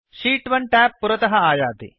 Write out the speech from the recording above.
शीत् 1 tab पुरतः आयति